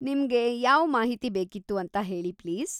ನಿಮ್ಗೆ ಯಾವ್‌ ಮಾಹಿತಿ ಬೇಕಿತ್ತು ಅಂತ ಹೇಳಿ ಪ್ಲೀಸ್.